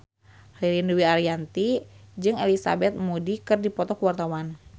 Ririn Dwi Ariyanti jeung Elizabeth Moody keur dipoto ku wartawan